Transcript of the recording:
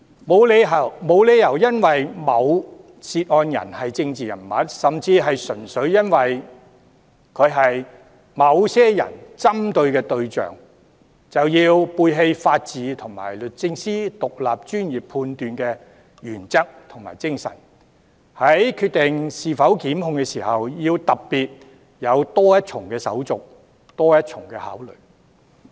沒有理由因為某涉案人是政治人物，甚至純粹由於他是某些人士所針對的對象，便要背棄法治和律政司作獨立專業判斷的原則和精神，在決定是否檢控時，要特別有多一重手續、多一重考慮。